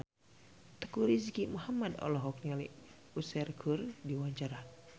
Teuku Rizky Muhammad olohok ningali Usher keur diwawancara